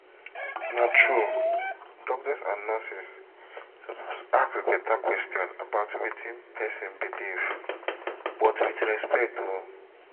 na true doctors and nurses suppose ask better question about wetin person believe — but with respect o.